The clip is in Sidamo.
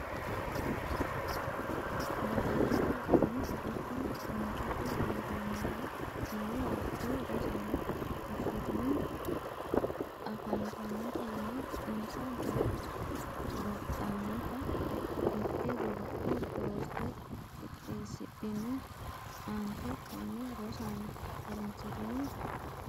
badooshshe la’ini? giddo qoonqote duu’ramara noo wodho Rosaano, fushshitini? afantannotanna insa baxxannota mitte godo’le doorte qixxeesidhino aante kaima Rosaano, ha’runsitini?